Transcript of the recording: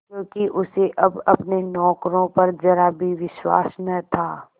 क्योंकि उसे अब अपने नौकरों पर जरा भी विश्वास न था